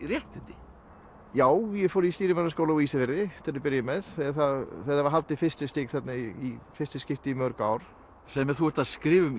réttindi já ég fór í stýrimannaskóla á Ísafirði til að byrja með það var haldið fyrsta stig þarna í fyrsta skipti í mörg ár segðu mér þú ert að skrifa um